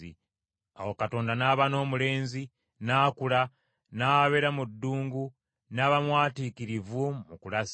Awo Katonda n’aba n’omulenzi n’akula n’abeera mu ddungu n’aba mwatiikirivu mu kulasa.